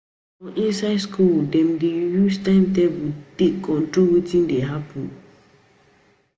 For inside school dem dey use time table to take control wetin dey happen